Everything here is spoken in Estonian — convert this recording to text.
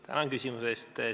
Tänan küsimuse eest!